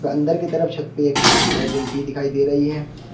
अंदर की तरफ छत पे एक ट्यूबलाइट जलती दिखाई दे रही है।